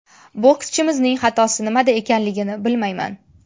Bokschimizning xatosi nimada ekanligini bilmayman.